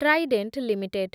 Trident limited